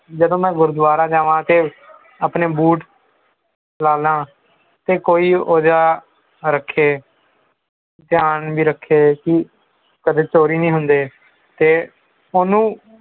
ਜਦੋਂ ਮੈਂ ਗੁਰਦਵਾਰੇ ਜਾਵਾਂਤੇ ਆਪਣੇ boot ਲਾਨਾ ਤੇ ਕੋਈ ਉਹਦਾ ਰੱਖੇ ਧਿਆਨ ਵੀ ਰੱਖੇਗੀ ਕਿ ਕਦੇ ਚੋਰੀ ਨਹੀਂ ਹੁੰਦੇ ਤੇ ਉਨੂੰ